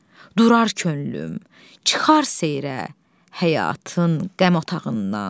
Durar könlüm, çıxar seyirə, həyatın qəm otağından.